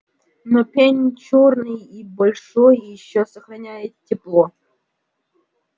но пень чёрный и большой ещё сохраняет тепло